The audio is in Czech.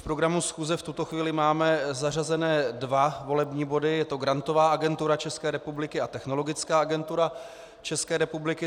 V programu schůze v tuto chvíli máme zařazené dva volební body, je to Grantová agentura České republiky a Technologická agentura České republiky.